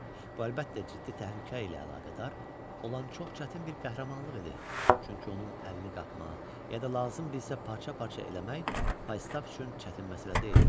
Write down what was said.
Bu, əlbəttə, ciddi təhlükə ilə əlaqədar olan çox çətin bir qəhrəmanlıq idi, çünki onun əlini qapmaq, ya da lazım bilsə parça-parça eləmək Faustaf üçün çətin məsələ deyildi.